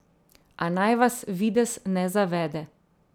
A naj vas videz ne zavede.